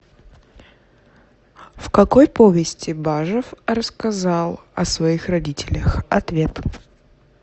в какой повести бажов рассказал о своих родителях ответ